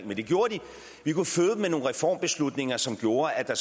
men det gjorde de med nogle reformbeslutninger som gjorde at der